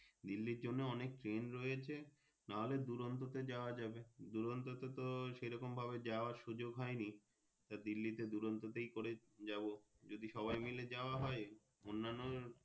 দিল্লির জন্য অনেক Train রয়েছে তাহলে দূরান্ত তে যাওয়া যাবে দূরান্তে তো সেরকম ভাবে যাওয়া সুযোগ হয়নি দিল্লিতে দূরান্ত করেই যাবো যদি সবাই মাইল যাওয়া হয় অন্যান্য।